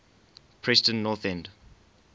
preston north end